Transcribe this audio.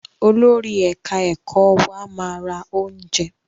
Olórí ẹ̀ka ẹ̀kọ́ wa máa ra oúnjẹ.